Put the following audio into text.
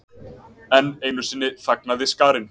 Enn einu sinni þagnaði skarinn.